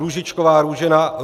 Růžičková Růžena